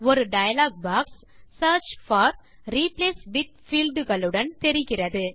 ஒரு dialog box search for replace with field களுடன் தெரிகிறது